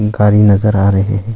गाड़ी नजर आ रहे हैं।